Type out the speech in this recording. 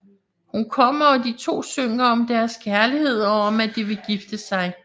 Hun kommer og de to synger om deres kærlighed og om at de vil gifte sig